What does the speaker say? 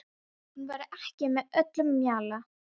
Hún væri ekki með öllum mjalla.